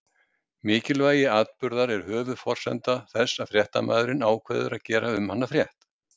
Mikilvægi atburðar er höfuðforsenda þess að fréttamaðurinn ákveður að gera um hann frétt.